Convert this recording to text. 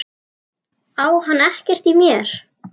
Á hann ekkert í mér?